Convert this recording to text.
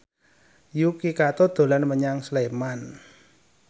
Yuki Kato dolan menyang Sleman